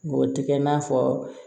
Ngɔtike i n'a fɔ